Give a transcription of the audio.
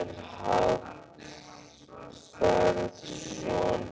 Emil Hallfreðsson